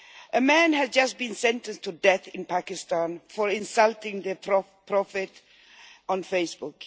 A man has just been sentenced to death in Pakistan for insulting the prophet on Facebook.